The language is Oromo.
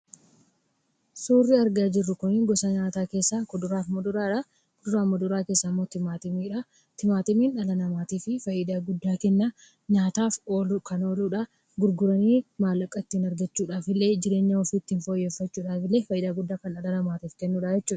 Suurri argaa jirru kun gosa nyaataa keessaa kuduraa fi muduraadha. Kuduraa fi muduraa keessaa immoo timaatimiidha. Timaatimiin dhala namaatiifi faayidaa guddaa kenna: nyaataaf ooluu kan ooludha, gurguranii maallaqa itti argachuudhaafillee, jireenya ofii ittiin fooyyeffachuudhaafillee faayidaa guddaa kan dhala namaatiif kennudhaa jechuudha.